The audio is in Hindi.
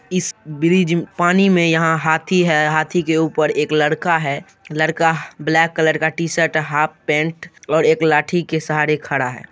इस ब्रिज पानी में यहाँ हाथी है| हाथी के ऊपर एक लड़का है लड़का ब्लैक कलर का टी-शर्ट हाफ पैंट और एक लाठी के सहारे खड़ा है।